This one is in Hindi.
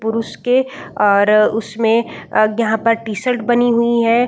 पुरुष के और उसमें यहाँ पर टी-शर्ट बनी हुई हैं।